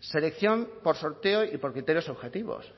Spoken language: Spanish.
selección por sorteo y por criterios objetivos